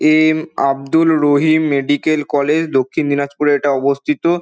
M Abdul Rahim medical college দক্ষিণ দিনাজপুরে এটা অবস্থিত।